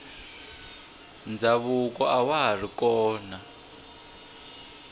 ndhavuko awa hari kona